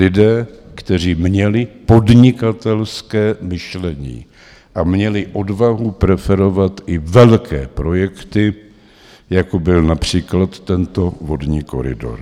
Lidé, kteří měli podnikatelské myšlení a měli odvahu preferovat i velké projekty, jako byl například tento vodní koridor.